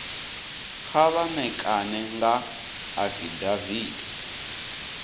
kha vha ṋekane nga afidaviti